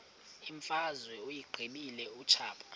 imfazwe uyiqibile utshaba